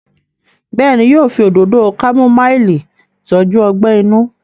béèni yíò fí Òdòdó kámúmáìlì tọjú ogbè inú?